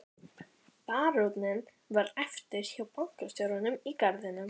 Baróninn varð eftir hjá bankastjóranum í garðinum.